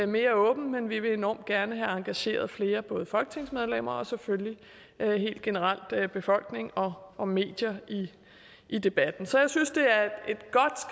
mere åbent men vi vil enormt gerne have engageret flere både folketingsmedlemmer og selvfølgelig helt generelt befolkning og medier i debatten så jeg synes det